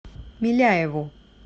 миляеву